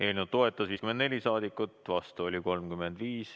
Eelnõu toetas 54 saadikut, vastu oli 35.